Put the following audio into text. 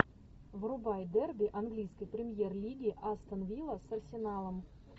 врубай дерби английской премьер лиги астон вилла с арсеналом